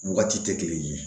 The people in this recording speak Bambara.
Wagati tɛ kelen ye